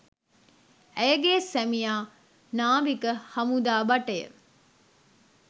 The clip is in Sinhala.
ඇයගේ සැමියා නාවික හමුදා භටය